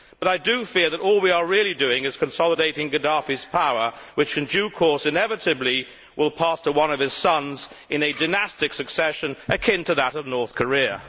But I do fear that all we are really doing is consolidating Gaddafi's power, which, in due course, inevitably will pass to one of his sons in a dynastic succession akin to that of North Korea.